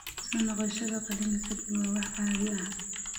Soo noqoshada qalliinka ka dib waa wax caadi ah.